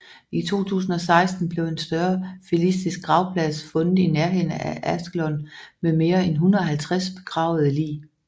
I 2016 blev en større filistisk gravplads fundet i nærheden af Ashkelon med mere en 150 begravede lig